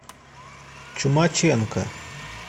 чумаченко